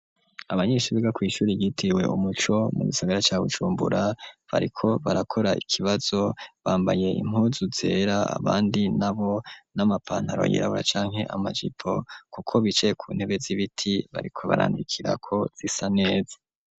Abanyeshuri biga kw'ishuri ryitiwe umuco mu gisagara ca Bujumbura bariko barakora ikibazo bambaye impuzu zera abandi nabo n'amapantaro yirabura canke amajipo kuko bicaye ku ntebe z'ibiti bariko barandikirako zisa neza.